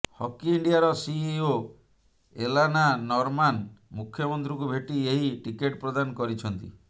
hockey ଇଣ୍ଡିଆର CEO Elena Norman ମୁଖ୍ୟମନ୍ତ୍ରୀଙ୍କୁ ଭେଟି ଏହି ଟିକେଟ ପ୍ରଦାନ କରିଛନ୍ତି